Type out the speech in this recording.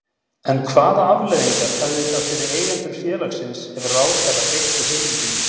En hvaða afleiðingar hefði það fyrir eigendur félagsins ef ráðherra beitti heimildinni?